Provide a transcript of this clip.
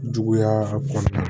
Juguya kɔnɔna na